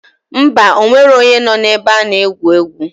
Ḿbà, onwero onye noo na ebe ana egwu egwu.